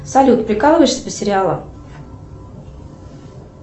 салют прикалываешься по сериалам